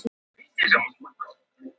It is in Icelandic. Þetta voru svo sannarlega jólin